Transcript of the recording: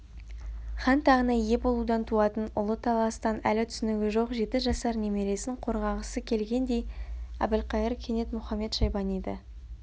хан тағына ие болудан туатын ұлы таластан әлі түсінігі жоқ жеті жасар немересін қорғағысы келгендей әбілқайыр кенет мұхамед-шайбаниды